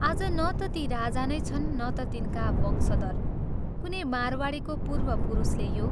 आज न ता ती राजा नै छन् न ता तिनका वंशधर कुनै मारवाडीको पूर्वपुरुषले यो।